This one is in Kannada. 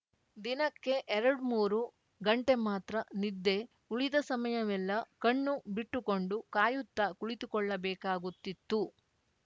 ದಿನಕ್ಕೆ ಎರಡ್ಮೂರು ಗಂಟೆ ಮಾತ್ರ ನಿದ್ದೆ ಉಳಿದ ಸಮಯವೆಲ್ಲ ಕಣ್ಣು ಬಿಟ್ಟುಕೊಂಡು ಕಾಯುತ್ತಾ ಕುಳಿತುಕೊಳ್ಳಬೇಕಾಗುತ್ತಿತ್ತು